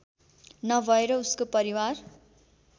नभएर उसको परिवार